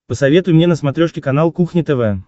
посоветуй мне на смотрешке канал кухня тв